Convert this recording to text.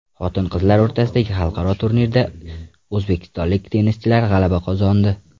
Xotin-qizlar o‘rtasidagi xalqaro turnirda o‘zbekistonlik tennischilar g‘alaba qozondi.